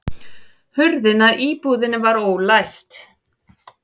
Hurðin að íbúðinni var ólæst